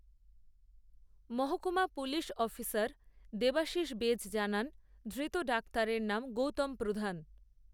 মহকূমা পুলিশঅফিসারদেবাশিস বেজজানানধৃত ডাক্তারের নামগৌতম প্রধান